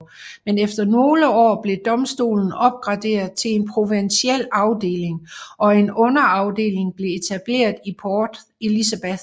Men efter nogle år blev domstolen opgraderet til en provinsiel afdeling og en underafdeling blev etableret i Port Elizabeth